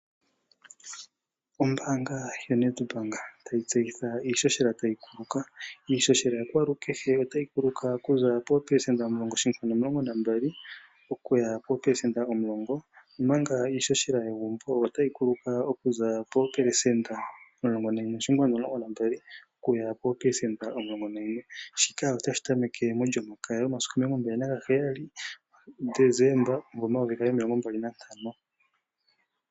Ombaanga yaNEdbank otayi tseyitha iihohela tayi kuluka. Iihohela yakwalukehe otayi kuluka okuza 10.12% okuya 10%, omanga iihohela yegumbo otayi kuluka okuza 11.12% okuya 10% shika otashi tameke mOlyomakaya yomasiku 27 Decemba 2025.